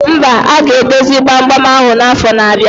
Mba, aga edozi gbam gbam ahụ na afo na abịa